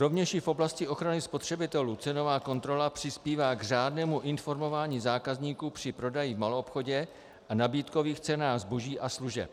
Rovněž i v oblasti ochrany spotřebitelů cenová kontrola přispívá k řádnému informování zákazníků při prodeji v maloobchodě a nabídkových cenách zboží a služeb.